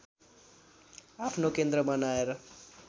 आफ्नो केन्द्र बनाएर